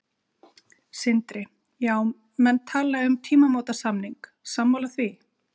Sindri: Já, menn tala um tímamótasamning, sammála því?